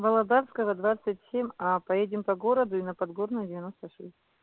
володарского двадцать семь а поедем по городу и на подгорную девяносто шесть